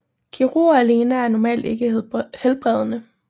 Kirurgi alene er normalt ikke helbredende